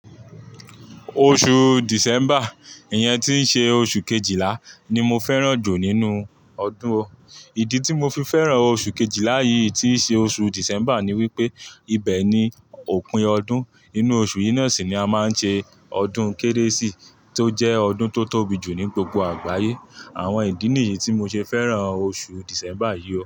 Oṣù December, ìyẹn tí ń ṣe oṣù Kejìlá ni mo fẹ́ràn jù nínú ọdún. Ìdí tí mo fi fẹ́ràn oṣù Kejìlá yìí tí ṣe oṣù December ni wípé, ibẹ̀ ni òpin ọdún. Nínú oṣù yìí náà sì ni a máa ń ṣe ọdún Kérésì tó jẹ́ ọdún tó tóbi jù ní gbogbo àgbáyé. Àwọn ìdí nìyí tí mo ṣe fẹ́ràn oṣù December yìí o.